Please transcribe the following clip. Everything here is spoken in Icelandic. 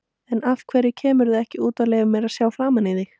En af hverju kemurðu ekki út og leyfir mér að sjá framan í þig?